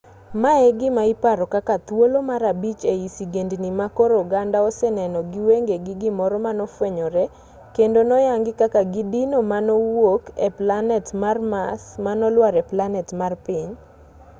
mae e gima iparo kaka thuolo mar abich ei sigendni ma koro oganda oseneno gi wengegi gimoro manofwenyore kendo noyangi kaka kidino manowuok e planet mar mars manolwar e planet mar piny